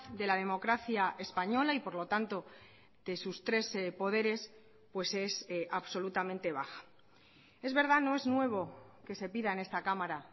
de la democracia española y por lo tanto de sus tres poderes pues es absolutamente baja es verdad no es nuevo que se pida en esta cámara